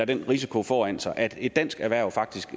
den risiko foran sig at et dansk erhverv faktisk